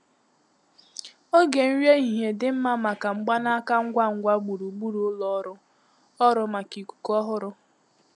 Oge nri ehihie dị mma maka mgbanaka ngwa ngwa gburugburu ụlọ ọrụ ọrụ maka ikuku ọhụrụ.